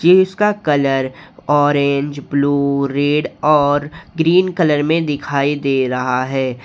इसका colour orange blue red और green colour में दिखाई दे रहा है।